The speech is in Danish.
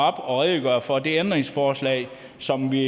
og redegør for det ændringsforslag som vi